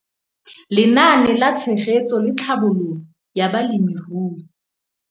Lenaane la Tshegetso le Tlhabololo ya Balemirui